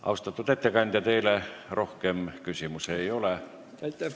Austatud ettekandja, teile rohkem küsimusi ei ole.